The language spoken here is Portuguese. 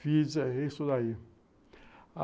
Fiz isso daí.